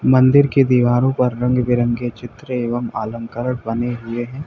मंदिर की दीवारों पर रंग बिरंगे के चित्र एवं अलंकरण बने हुए हैं।